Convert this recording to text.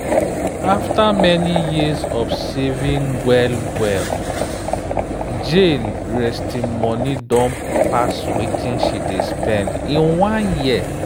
after many years of saving well-well jane resting money don pass wetin she dey spend in one year.